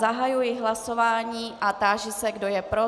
Zahajuji hlasování a táži se, kdo je pro.